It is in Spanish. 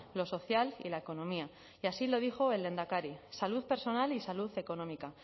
lo social y la economía y así lo dijo el lehendakari salud personal y salud económica